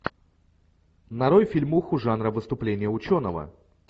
нарой фильмуху жанра выступление ученого